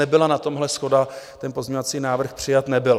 Nebyla na tomhle shoda, ten pozměňovací návrh přijat nebyl.